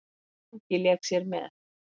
Mangi lék sér með.